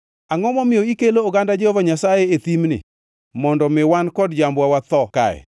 Angʼo momiyo ikelo oganda Jehova Nyasaye e thimni, mondo mi wan kod jambwa watho kaye?